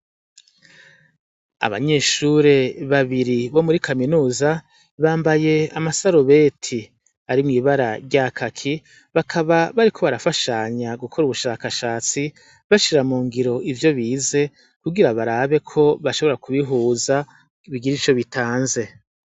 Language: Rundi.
Abanyeshuri babiri bo muri kaminuza bambaye amasarubeti ari mw'ibara rya kaki bakaba bariko barafanya gukora ubushakashatsi bashira mu ngiro ivyo bize kugira barabe ko bashobora ku bihuza bigire ico bitanze.